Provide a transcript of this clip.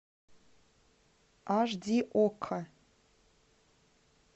аш ди окко